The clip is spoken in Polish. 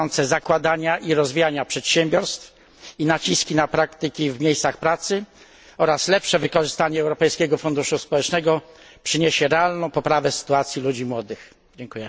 zakładania i rozwijania przedsiębiorstw i naciski na praktyki w miejscach pracy, oraz lepsze wykorzystanie Europejskiego Funduszu Społecznego przyniosą realną poprawę sytuacji młodych ludzi.